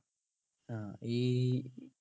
ആഹ് ഈ